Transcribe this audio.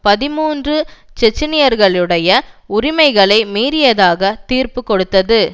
பதிமூன்று செச்செனியர்களுடைய உரிமைகளை மீறியதாக தீர்ப்பு கொடுத்தது